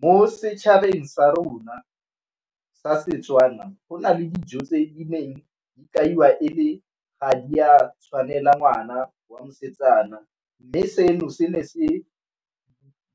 Mo setšhabeng sa rona sa Setswana go na le dijo tse neng di kaiwa ga di a tshwanela ngwana wa mosetsana, mme seno se ne se